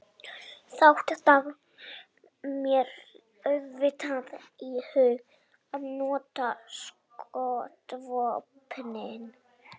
Þá datt mér auðvitað í hug að nota skotvopnið.